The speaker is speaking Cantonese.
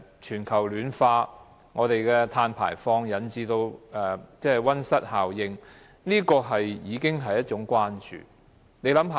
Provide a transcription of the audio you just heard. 全球暖化，碳排放引致溫室效應，已經是當時關注的事情。